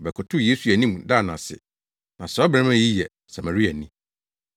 Ɔbɛkotow Yesu anim daa no ase. Na saa ɔbarima yi yɛ Samariani.